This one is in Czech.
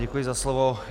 Děkuji za slovo.